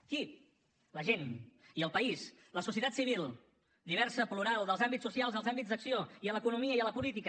qui la gent i el país la societat civil diversa plural dels àmbits socials els àmbits d’acció i a l’economia i a la política